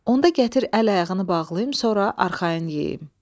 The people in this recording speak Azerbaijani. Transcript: Onda gətir əl-ayağını bağlayım, sonra arxayın yeyəyim.